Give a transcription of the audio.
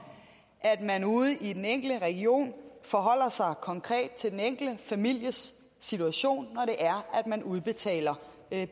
at man ude i den enkelte region forholder sig konkret til den enkelte families situation når man udbetaler